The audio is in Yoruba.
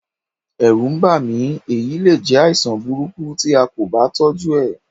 Ẹ̀rù ń bà mí, èyí le jẹ́ àìsàn burúkú tí a kò bá tọ́jú ẹ̀.